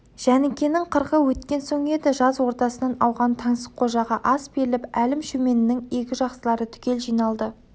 жәнікенің қырқы өткен соң еді жаз ортасынан ауған таңсыққожаға ас беріліп әлім-шөменнің игі жақсылары түгел жиналды